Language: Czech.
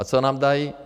A co nám dají?